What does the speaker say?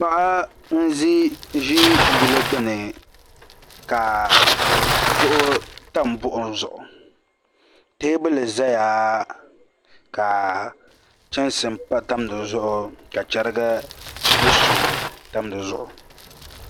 Paɣa n ʒi yili gbuni ka duɣu tam buɣum zuɣu teebuli ʒɛya ka chimsi tam di zuɣu ka chɛrigi ni suu tam dizuɣu